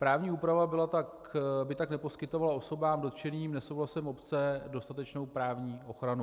Právní úprava by tak neposkytovala osobám dotčeným nesouhlasem obce dostatečnou právní ochranu.